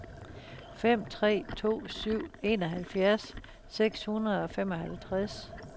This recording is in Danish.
fem tre to syv enoghalvfjerds seks hundrede og femoghalvtreds